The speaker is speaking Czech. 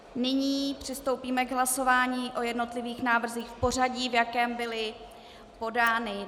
Nyní přistoupíme k hlasování o jednotlivých návrzích v pořadí, v jakém byly podány.